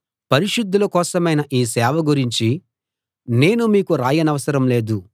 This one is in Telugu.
పరిశుద్ధుల కోసమైన ఈ సేవ గురించి నేను మీకు రాయనవసరం లేదు